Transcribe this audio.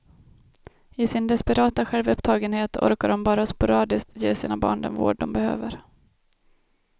I sin desperata självupptagenhet orkar de bara sporadiskt ge sina barn den vård de behöver.